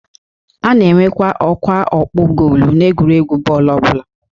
A na-enwe ọkwa ọkpụ goolu n'egwuregwu bọọlụ ọbụla